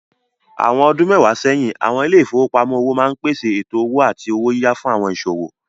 Àwọn ọdún mẹ́wàá sẹ́yìn, àwọn ilé ìfowópamọ́ òwò máa ń pèsè ètò owó àti owó yíyá fún àwọn ìsòwò.